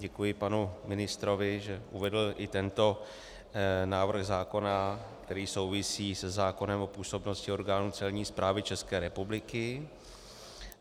Děkuji panu ministrovi, že uvedl i tento návrh zákona, který souvisí se zákonem o působnosti orgánů Celní správy České republiky.